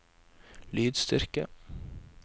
lydstyrke